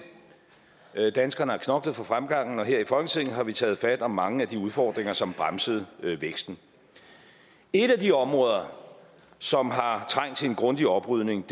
danskerne har knoklet for fremgangen og her i folketinget har vi taget fat om mange af de udfordringer som bremsede væksten et af de områder som har trængt til en grundig oprydning